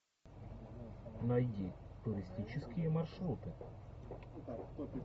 найди туристические маршруты